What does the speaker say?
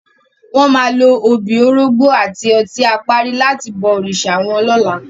Wò má ló óbi, órógbò áti òtin àpári làti bò órisá wòn lòlá